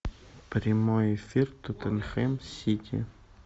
прямой эфир тоттенхэм сити